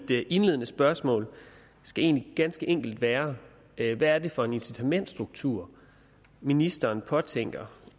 indledende spørgsmål skal egentlig ganske enkelt være hvad er det for en incitamentsstruktur ministeren påtænker